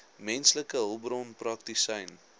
menslike hulpbronne praktisyn